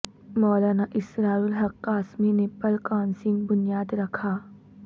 مولانا اسرار الحق قاسمی نے پل کا سنگ بنیاد رکھا